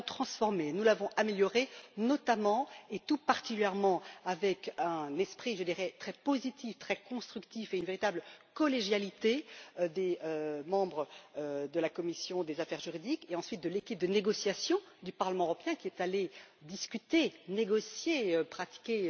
Nous l'avons transformée, nous l'avons améliorée, notamment, et tout particulièrement dans un esprit, je dirais, très positif, très constructif et d'une véritable collégialité des membres de la commission des affaires juridiques, et, ensuite, de l'équipe de négociation du Parlement européen, qui est allée discuter, négocier, pratiquer